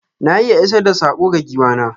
Na iya isar da sako ga giwa na.